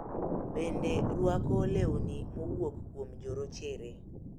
Bende rwako lewni mowuok kuom jorochere.